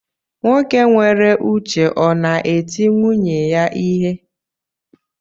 Nwoke nwere uche ọ na eti nwunye ya ihe?